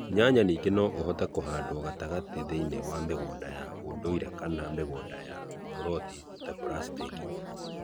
Nyanya ningĩ no ũhote kũhandwo matamati thĩinĩ wa mĩgũnda ya ũndũire kana mĩgũnda ya kũruga ta buracitaki.